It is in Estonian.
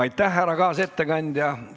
Aitäh, härra kaasettekandja!